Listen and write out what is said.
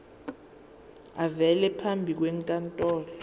avele phambi kwenkantolo